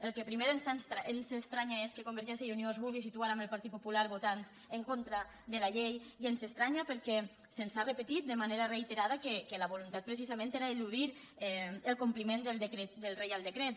el que primer ens estranya és que convergència i unió es vulgui situar amb el partit popular votant en contra de la llei i ens estranya perquè se’ns ha repetit de manera reiterada que la voluntat precisament era eludir el compliment del reial decret